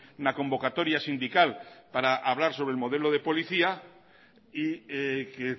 una convocatoria sindical para hablar sobre el modelo de policía y que